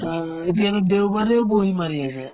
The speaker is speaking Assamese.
আ এতিয়াতো দেওবাৰেও মাৰি আছে